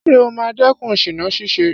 Ṣé ó máa dẹ́kun ṣìná ṣíṣe?